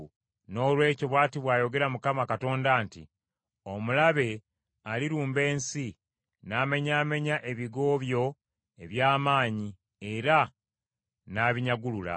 Noolwekyo bw’ati bw’ayogera Mukama Katonda nti, “Omulabe alirumba ensi, n’amenyaamenya ebigo byo eby’amaanyi era n’abinyagulula.”